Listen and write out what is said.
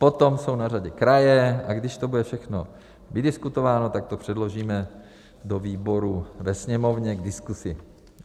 Potom jsou na řadě kraje, a když to bude všechno vydiskutováno, tak to předložíme do výboru ve Sněmovně k diskuzi.